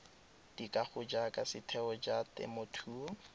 dikago jaaka setheo sa temothuo